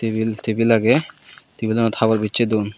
tebil tebil aage tebilanot habor biseh duon.